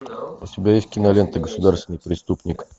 у тебя есть кинолента государственный преступник